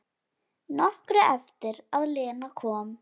Nokkru eftir að Lena kom.